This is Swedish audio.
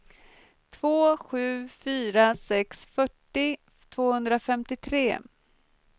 två sju fyra sex fyrtio tvåhundrafemtiotre